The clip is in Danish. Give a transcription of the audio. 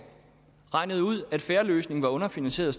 regnede ud at fair løsning var underfinansieret